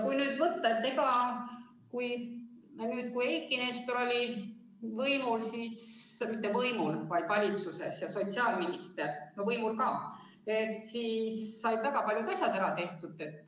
Kui nüüd rääkida sellest ajast, kui Eiki Nestor oli võimul, õigemini mitte võimul, vaid valitsuses ja sotsiaalminister – võimul küll ka –, siis said väga paljud asjad ära tehtud.